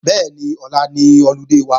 Bẹ́ẹ̀ni, ọ̀la ni ọludé wa